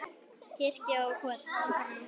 Kirkjan og kortin.